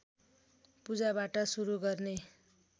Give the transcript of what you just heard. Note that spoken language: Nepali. पूजाबाट सुरु गर्ने